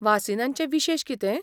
वासीनांचे विशेश कितें?